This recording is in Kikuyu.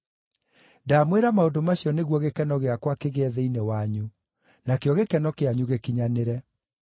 Ndamwĩra maũndũ macio nĩguo gĩkeno gĩakwa kĩgĩe thĩinĩ wanyu, nakĩo gĩkeno kĩanyu gĩkinyanĩre.